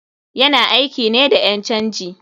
Yana aiki ne da ƴan canji.